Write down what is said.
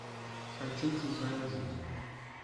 хочу чужая жизнь